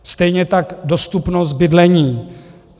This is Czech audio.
Stejně tak dostupnost bydlení.